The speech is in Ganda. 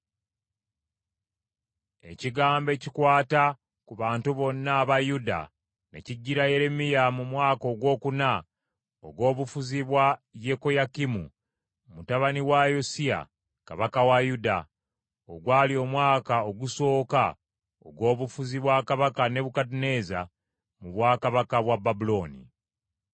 Ekigambo ekikwata ku bantu bonna aba Yuda ne kijjira Yeremiya mu mwaka ogwokuna ogw’obufuzi bwa Yekoyakimu mutabani wa Yosiya kabaka wa Yuda, ogwali omwaka ogusooka ogw’obufuzi bwa kabaka Nebukadduneeza mu bwakabaka bwa Babulooni.